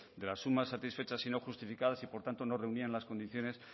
de las sumas satisfechas y no justificadas y por tanto no reunían las condiciones